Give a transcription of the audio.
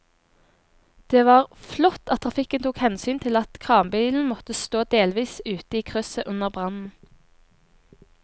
Det var flott at trafikken tok hensyn til at kranbilen måtte stå delvis ute i krysset under brannen.